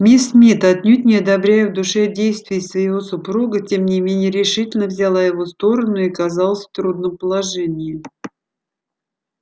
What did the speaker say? мисс мид отнюдь не одобряя в душе действий своего супруга тем не менее решительно взяла его сторону и оказалась в трудном положении